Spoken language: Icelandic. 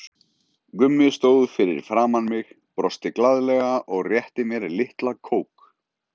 Gummi stóð fyrir framan mig, brosti glaðlega og rétti mér litla kók.